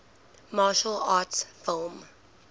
martial arts film